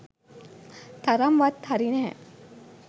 තරම්වත් හරි නෑ